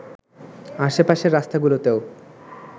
আশে-পাশের রাস্তাগুলোতেও